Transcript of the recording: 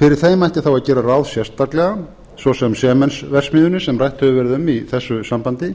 fyrir þeim ætti þá að gera ráð sérstaklega svo sem sementsverksmiðjunni sem rætt hefur verið um í þessu sambandi